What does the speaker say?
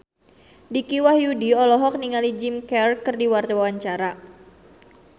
Dicky Wahyudi olohok ningali Jim Carey keur diwawancara